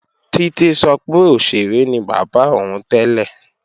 Títí sọ pé òṣèré ni bàbá òun tẹ́lẹ̀